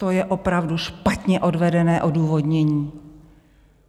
To je opravdu špatně odvedené odůvodnění.